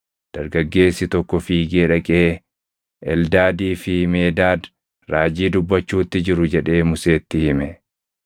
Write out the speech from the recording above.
Dargaggeessi tokko fiigee dhaqee, “Eldaadii fi Meedaad raajii dubbachuutti jiru” jedhee Museetti hime.